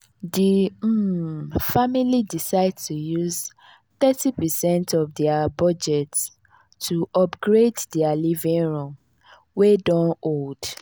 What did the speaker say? di um family decide to use thirty percent of dia budget to upgrade dia living room wey don old.